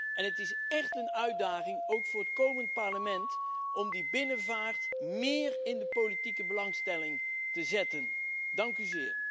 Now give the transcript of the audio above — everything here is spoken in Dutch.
En het is echt een uitdaging, ook voor het komende Parlement, om de binnenvaart meer in de politieke belangstelling te brengen.